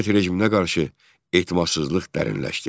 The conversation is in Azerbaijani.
Sovet rejiminə qarşı etimadsızlıq dərinləşdi.